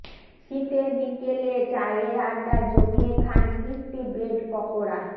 শীতের বিকেলে চায়ের আড্ডায় জমিয়ে খান ক্রিসপি ব্রেড পকোড়া